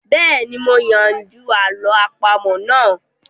Bẹ́ẹ̀ni, mo yanjú àlọ́ àpamọ́ náà